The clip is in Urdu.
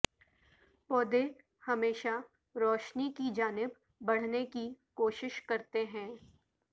پودے ہمیشہ روشنی کی جانب بڑھنے کی کوشش کرتے ہیں